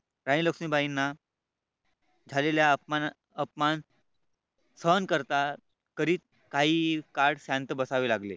राणी लक्ष्मीबाईंना झालेल्या अपमान अपमान सहन करतात करीत काही काळ शांत बसावे लागले.